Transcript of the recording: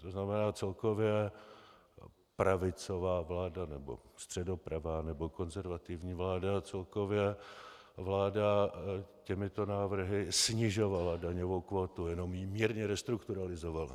To znamená celkově pravicová vláda, nebo středopravá, nebo konzervativní vláda, celkově vláda těmito návrhy snižovala daňovou kvótu, jenom ji mírně restrukturalizovala.